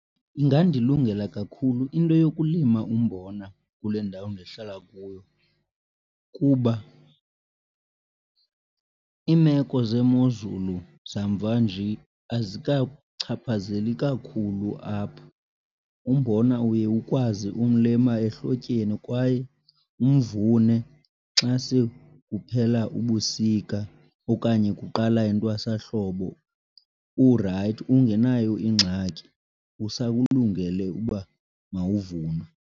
Ingandilungela kakhulu into yokulima umbona kule ndawo ndihlala kuyo kuba iimeko zemozulu zamva nje azikachaphazeli kakhulu apha. Umbona uye ukwazi umlima ehlotyeni kwaye umvune xa sekuphela ubusika okanye kuqala intwasahlobo urayithi ungenayo ingxaki, usakulungele uba mawuvunwe.